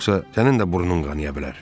yoxsa sənin də burnun qanaya bilər.